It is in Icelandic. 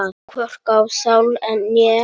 Hvorki á sál né líkama.